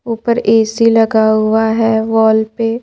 ऊपर ए_सी लगा हुआ है वॉल पे--